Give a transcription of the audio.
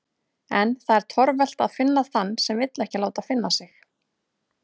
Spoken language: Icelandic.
En það er torvelt að finna þann sem vill ekki láta finna sig.